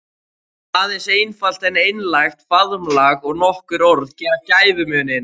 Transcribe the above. Aðeins einfalt en einlægt faðmlag og nokkur orð gera gæfumuninn.